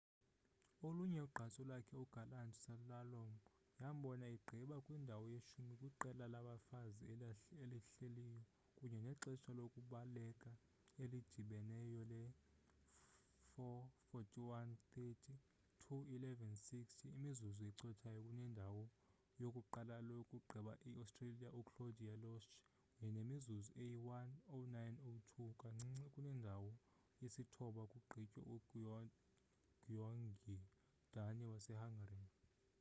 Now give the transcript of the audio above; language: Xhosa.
olunye ugqatso lakhe igalant slalom yambona egqiba kwindawo yeshumi kwiqela labafazi elihleliyo kunye nexesha lokubaleka elidibeneyo le-4: 41.30 2: 11.60 imizuzu ecothayo kunendawo yokuqala yokugqiba iaustria uclaudia loesch kunye nemizuzu eyi-1: 09.02 kancinci kunendawo yesithoba kugqitywe ugyöngyi dani wasehungary